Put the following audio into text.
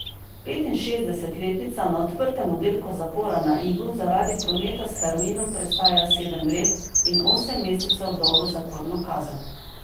Petinšestdesetletnica na odprtem oddelku zapora na Igu zaradi prometa s heroinom prestaja sedem let in osem mesecev dolgo zaporno kazen.